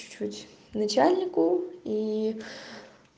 чуть-чуть начальнику и